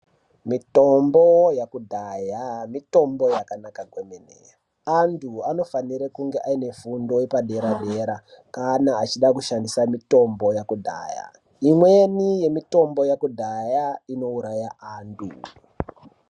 Mitombo yekudhaya mitombo yakanaka kwemene antu anofanirwa kunga aine fundo yepadera dera kana achida kushandisa mitombo yekudhaya. Imweni yemitombo yekudhaya inouraya antu